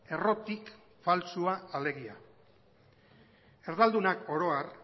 errotik faltsua alegia erdaldunak oro har